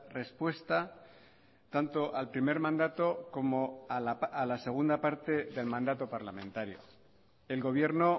respuesta tanto al primer mandato como a la segunda parte del mandato parlamentario el gobierno